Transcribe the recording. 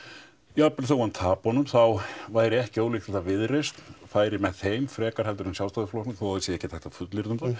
jafnvel þótt hann tapi honum þá væri ekki ólíklegt að Viðreisn færi með þeim frekar en Sjálfstæðisflokknum þó það sé ekkert hægt að fullyrða um það